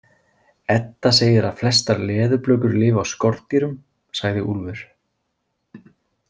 Edda segir að flestar leðurblökur lifi á skordýrum, sagði Úlfur.